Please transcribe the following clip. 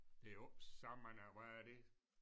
Det er jo ikke så mange hvad er det